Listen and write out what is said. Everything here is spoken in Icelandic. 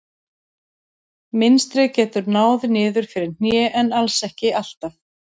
Mynstrið getur náð niður fyrir hné en alls ekki alltaf.